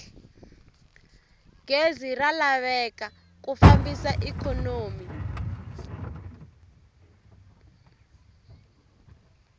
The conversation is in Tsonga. gezi ra laveka ku fambisa ikhonomi